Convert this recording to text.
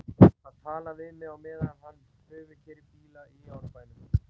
Hann talar við mig á meðan hann prufukeyrir bíla í Árbænum.